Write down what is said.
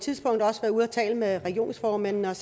tidspunkt også ude at tale med regionsformændene og